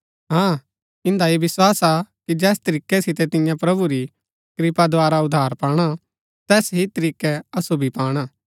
हाँ इन्दा ऐह विस्वास हा कि जैस तरीकै सितै तियां प्रभु यीशु री कृपा द्धारा उद्धार पाणा तैस ही तरीकै असु भी पाणा